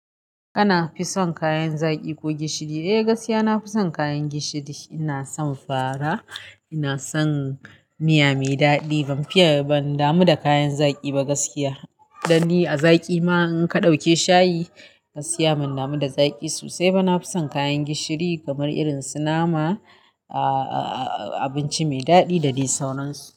Kana fi son kayan zaƙi ko gishiri? Eh gaskiya nafi son kayan gishiri. Ina son fara, ina son miya mai daɗi. Ban fiya, ban damu da kayan zaƙi ba gaskiya. Dan ni a zaƙi ma in ka ɗauke shayi, gaskiya ban damu da zaƙi sosai ba. Nafison kayan gishiri kamar irin su nama, a-a-a abinci mai daɗi da dai sauran su.